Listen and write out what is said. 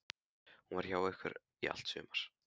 Hún var hjá ykkur í allt sumar.